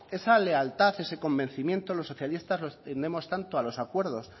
esa lealtad ese convencimiento los socialistas los tenemos tanto a los acuerdos